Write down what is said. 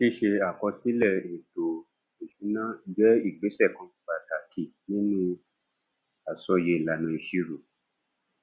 ṣíṣe àkọsílè ètò ìṣúná jé ìgbésè kan pàtàkì nínú àsọyé ìlànà ìṣirò